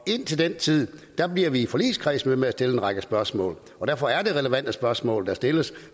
indtil den tid bliver vi i forligskredsen ved med at stille en række spørgsmål og derfor er det relevante spørgsmål der stilles